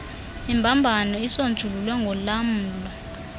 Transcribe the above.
imbambano isonjululwe ngolamlo